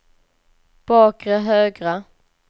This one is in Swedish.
bakre högra